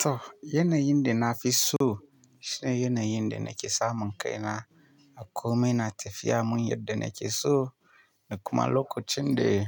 To yanayin da na fi so shine yanayin da nake samun kai na a komai na tafiya mun yadda nake so, da kuma lokacin da